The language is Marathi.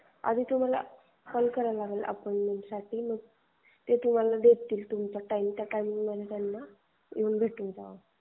आधी तुम्हाला कॉल करावा लागेल. मग ते तुम्हाला देतील अपॉईण्टमेन्ट टाइमिंग मग त्या टाइम मध्ये तुम्हाला भेटावं लागेल.